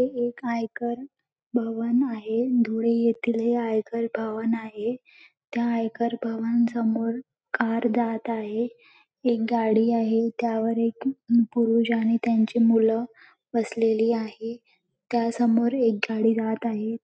हे एक आयकर भवन आहे धुळे येथील हे आयकर भवन आहे त्या आयकर भवन समोर कार जात आहे एक गाडी आहे त्यावर एक पुरुष आणि त्यांची मुल बसलेली आहे त्यासमोर एक गाडी जात आहे